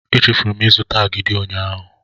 Echefuru m ịzụta agidi ụnyaahụ.